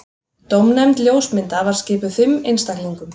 Dómnefnd ljósmynda var skipuð fimm einstaklingum